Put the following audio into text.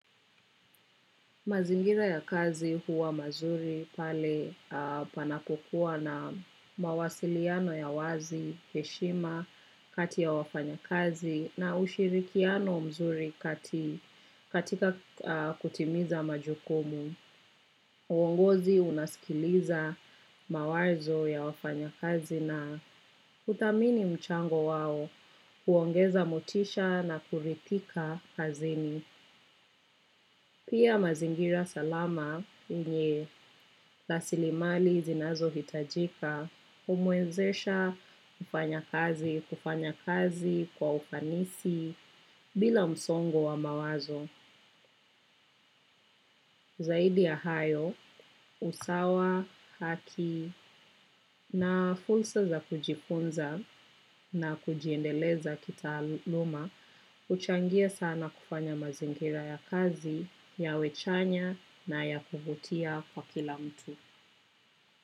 Mazingira ya kazi huwa mazuri pale panakokuwa na mawasiliano ya wazi, heshima, kati ya wafanyikazi na ushirikiano nzuri katika kutimiza majukumu. Uongozi unaskiliza mawazo ya wafanyakazi na kuthamini mchango wao, kuongeza motisha na kurithika kazini. Pia mazingira salama yenye rasilimali zinazohitajika, humwezesha kufanya kazi, kufanya kazi kwa ufanisi, bila msongo wa mawazo. Zaidi ya hayo, usawa, haki na fulsa za kujifunza na kujiendeleza kitaaluma, huchangia sana kufanya mazingira ya kazi, yawe chanya na ya kuvutia kwa kila mtu.